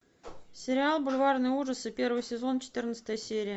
сериал бульварные ужасы первый сезон четырнадцатая серия